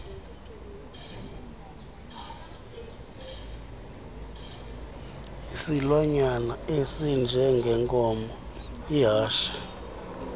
isilwanyana esinjengenkomo ihashe